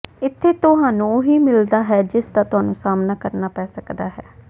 ਇੱਥੇ ਤੁਹਾਨੂੰ ਉਹੀ ਮਿਲਦਾ ਹੈ ਜਿਸਦਾ ਤੁਹਾਨੂੰ ਸਾਹਮਣਾ ਕਰਨਾ ਪੈ ਸਕਦਾ ਹੈ